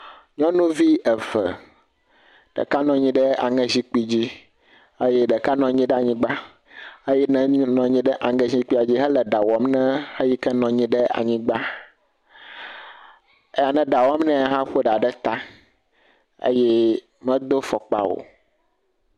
Nyɔnuvi eve, ɖeka nɔ anyi ɖe aŋe zikpui dzi eye ɖeka nɔ anyi ɖe anyigba eye eyi ke nɔ anyi ɖe aŋe zikpui dzi la le ɖa wɔm nɛ eyi ke le anyigba. Eyi ne ɖa wɔm nɛ hã wɔ ɖa ɖe ta eye medo afɔkpa o.